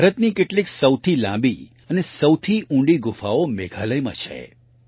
ભારતની કેટલીક સૌથી લાંબી અને સૌથી ઊંડી ગુફાઓ મેઘાલયમાં છે